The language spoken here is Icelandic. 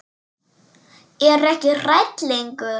Er ekki hrædd lengur.